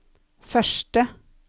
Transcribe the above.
første